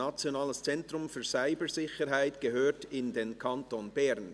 «Nationales Zentrum für Cybersicherheit gehört in den Kanton Bern».